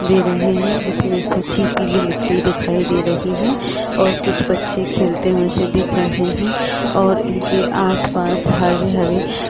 दे रहे है जिसमें सूखी पीली मिट्टी दिखाई दे रही है और कुछ बच्चे खेलते हुए से दिख रहे है और इनके आसपास हरे-हरे --